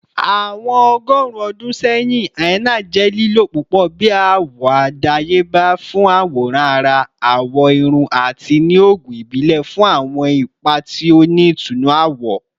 Awọn ọgọrun ọdun sẹyin, henna jẹ lilo pupọ bi awọ adayeba fun aworan ara, awọ irun, ati ni oogun ibile fun awọn ipa ti o ni itunnu awọ.